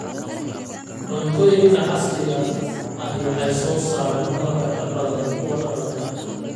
Cuntooyinka casriga ahi waxay soo saaraan malabka ka badan kuwa dhaqanka.